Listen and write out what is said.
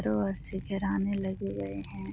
रो ओर से घेराने लगे गए है।